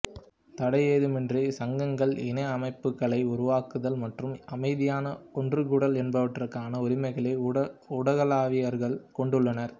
தடையேதுமின்றி சங்கங்கள்இ அமைப்புக்களை உருவாக்குதல் மற்றும் அமைதியாக ஒன்றுகூடல் என்பவற்றுக்கான உரிமைகளை ஊடகவியலாளர்கள் கொண்டுள்ளனர்